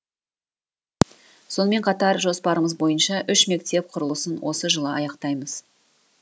сонымен қатар жоспарымыз бойынша үш мектеп құрылысын осы жылы аяқтаймыз